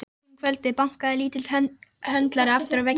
Seint um kvöldið bankaði litli höndlarinn aftur í vegginn.